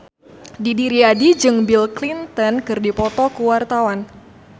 Didi Riyadi jeung Bill Clinton keur dipoto ku wartawan